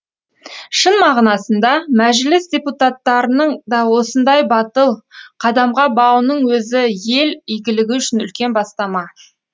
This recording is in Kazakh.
шын мағынасында мәжіліс депутаттарының да осындай батыл қадамға бауының өзі ел игілігі үшін үлкен бастама